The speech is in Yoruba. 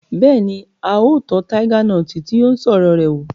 Bẹ́ẹ̀ni, a tọ́ taiga nọti tí ó ń sọ̀rọ̀ rẹ̀ wò